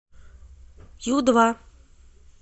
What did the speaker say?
ю два